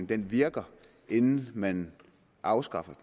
den virkede inden man afskaffede